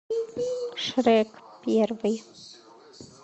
шрек первый